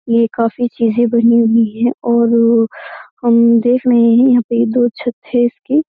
ये काफी चीजें बनी हुई हैं और हम देख रहे हैं यहाँ पे दो छत है इसकी।